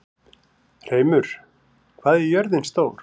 Hreimur, hvað er jörðin stór?